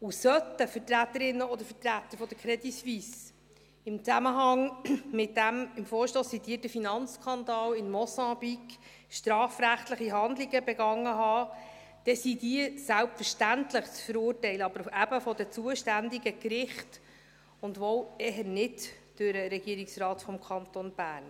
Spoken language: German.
Und sollten Vertreterinnen oder Vertreter der CS im Zusammenhang mit dem im Vorstoss zitierten Finanzskandal in Mosambik strafrechtliche Handlungen begangen haben, dann sind diese selbstverständlich zu verurteilen – aber eben von den zuständigen Gerichten, und wohl eher nicht durch den Regierungsrat des Kantons Bern.